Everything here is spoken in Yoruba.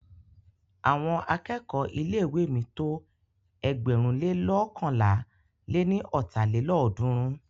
Àwọn akẹ́kọ̀ọ́ ilé ìwé mi tó ẹgbẹ̀rún le loókànlá lé ní ọ́ta lélọ́ọ̀dúnrún.